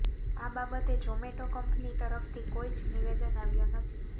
આ બાબતે જોમેટો કંપની તરફથી કોઈ જ નિવેદન આવ્યો નથી